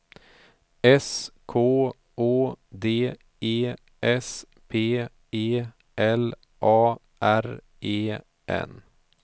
S K Å D E S P E L A R E N